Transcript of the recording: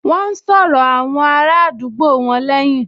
Wọ́n n sọ̀rọ̀ àwọn ará àdúgbò wọn lẹ́hìn